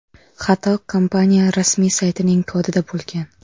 Xato kompaniya rasmiy saytining kodida bo‘lgan.